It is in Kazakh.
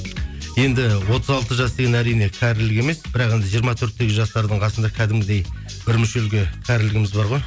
енді отыз алты жас деген әрине кәрілік емес бірақ енді жиырма төрттегі жастардың қасында кәдімгідей бір мүшелге кәрілігіміз бар ғой